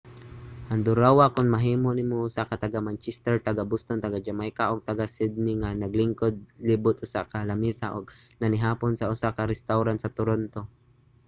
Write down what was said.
handurawa kon mahimo nimo usa ka taga-manchester taga-boston taga-jamaica ug taga-sydney ang naglingkod libot sa usa ka lamesa ug nanihapon sa usa ka restawran sa toronto